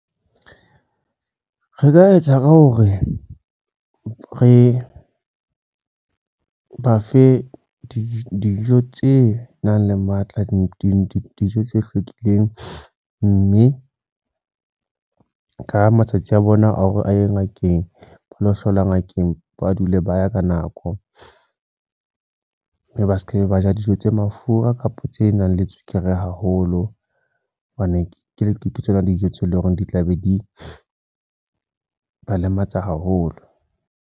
Re ka etsa ka hore re ba fe dijo tse nang le matla di di dijo tse hlwekileng. Mme ka matsatsi a bona a hore a ye ngakeng, ba lo hlola ngakeng, ba dule ba ya ka nako. Mme ba seke ba ja dijo tse mafura kapa tse nang le tswekere haholo. Hobane ke tsona dijo tse leng hore di tla be di ba lematsa haholo.